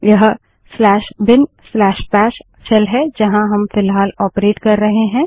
यह बिनबैशbinबाश शेल है जहाँ हम फ़िलहाल ऑपरेट कर रहे हैं